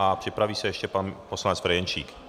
A připraví se ještě pan poslanec Ferjenčík.